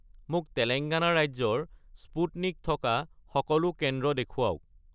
মোক তেলেংগানা ৰাজ্যৰ স্পুটনিক থকা সকলো কেন্দ্ৰ দেখুৱাওক